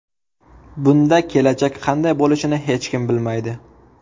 Bunda kelajak qanday bo‘lishini hech kim bilmaydi.